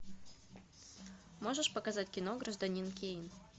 можешь показать кино гражданин кейн